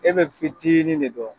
E be fitinin de dɔn